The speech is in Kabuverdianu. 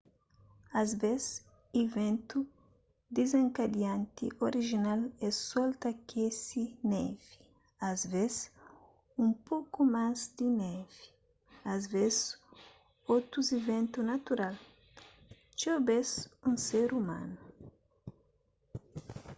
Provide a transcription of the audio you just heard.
asvês iventu dizenkadianti orijinal é sol ta akese nevi asvês un poku más di nevi asvês otus iventu natural txeu bês un ser umanu